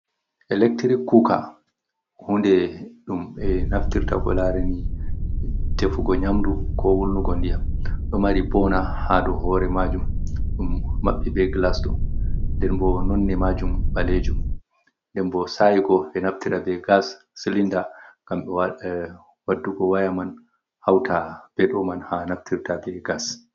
Electric kuoka, hunde dum be naftirta ko lareni defugo nyamdu, ko wulnugo ndiyam.do mari bona hado hore majum, dum mabbe be glas do, denbo nonne majum balejum, denbo sa igo do naftira be gas silinda gambe waddugo wayaman hauta be doman ha naftirta be gas.